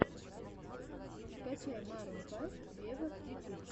скачай марун файв вево ютюб